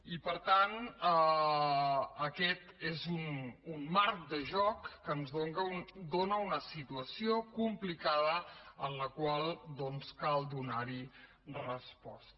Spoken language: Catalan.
i per tant aquest és un marc de joc que ens dóna una situació complicada en la qual doncs cal donar hi resposta